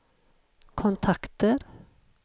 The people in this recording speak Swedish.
kontakter